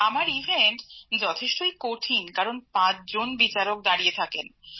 আমার ইভেন্ট যথেষ্টই কঠিন কারণ ৫ জন বিচারক দাঁড়িয়ে থাকেন